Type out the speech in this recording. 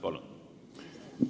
Palun!